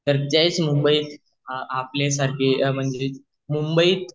आपल्या सारखे मेमोरिस मुंबईत